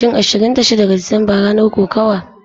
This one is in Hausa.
Shin Ashirin da shida ga Disamba ranar kokawa?